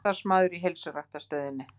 Samstarfsmaður í heilsuræktarstöðinni.